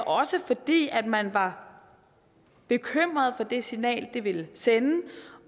også fordi man var bekymret for det signal det ville sende